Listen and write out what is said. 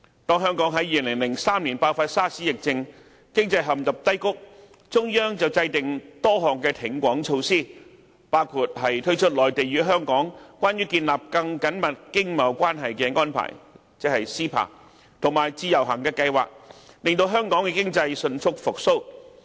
當香港在2003年爆發 SARS 疫症，經濟陷入低谷，中央制訂多項挺港措施，包括推出"內地與香港關於建立更緊密經貿關係的安排"和自由行計劃，令香港經濟迅速復蘇。